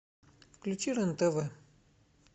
включи рен тв